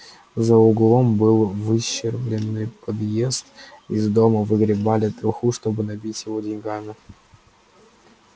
за углом был выщербленный подъезд из дома выгребали труху чтобы набить его деньгами